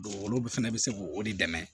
olu fɛnɛ bɛ se k'o de dɛmɛ